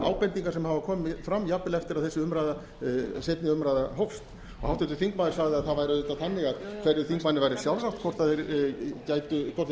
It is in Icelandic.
ábendingar sem hafa komið fram jafnvel eftir að þessi umræða fyrri umræða hófst háttvirtur þingmaður sagði að það væri auðvitað þannig að hverjum þingmanni væri sjálfrátt hvort þeir tækju til